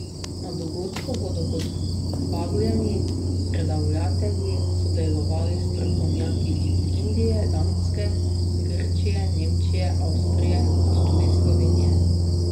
Na dogodku bodo kot vabljeni predavatelji sodelovali strokovnjaki iz Indije, Danske, Grčije, Nemčije, Avstrije kot tudi Slovenije.